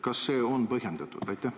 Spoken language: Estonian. Kas see on põhjendatud?